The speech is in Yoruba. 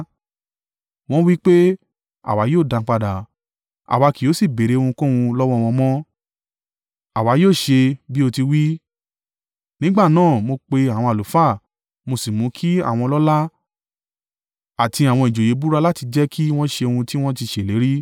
Wọ́n wí pé, “Àwa yóò dá a padà. Àwa kì yóò sì béèrè ohunkóhun lọ́wọ́ wọn mọ́. Àwa yóò ṣe bí o ti wí.” Nígbà náà mo pe àwọn àlùfáà, mo sì mú kí àwọn ọlọ́lá àti àwọn ìjòyè búra láti jẹ́ kí wọ́n ṣe ohun tí wọ́n ti ṣe ìlérí.